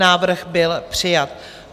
Návrh byl přijat.